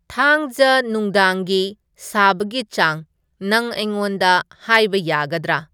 ꯊꯥꯡꯖ ꯅꯨꯡꯗꯥꯡꯒꯤ ꯁꯥꯕꯒꯤ ꯆꯥꯡ ꯅꯪ ꯑꯩꯉꯣꯟꯗ ꯍꯥꯏꯕ ꯌꯥꯒꯗꯔꯥ